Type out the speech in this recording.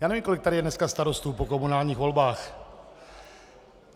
Já nevím, kolik tady je dneska starostů po komunálních volbách.